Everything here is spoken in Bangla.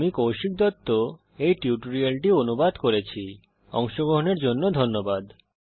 আমি কৌশিক দত্ত এই টিউটোরিয়াল টি অনুবাদ করেছি এতে অংশগ্রহন করার জন্য ধন্যবাদ